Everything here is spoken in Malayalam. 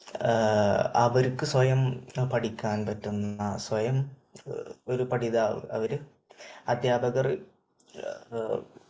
അവർക്ക് സ്വയം പഠിക്കാൻ പറ്റുന്ന സ്വയം ഒരു പഠിതാവ് അവര് അധ്യാപകർ